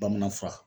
Bamanan fura